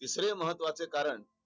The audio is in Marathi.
तिसरे महत्ववाचे कारण